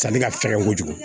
Sanni ka fɛgɛn kojugu